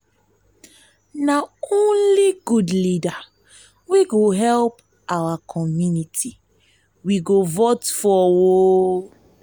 na only good leader wey go help our community we go vote for.